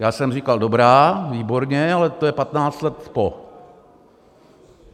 Já jsem říkal, dobrá, výborně, ale to je 15 let po.